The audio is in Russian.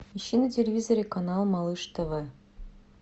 ищи на телевизоре канал малыш тв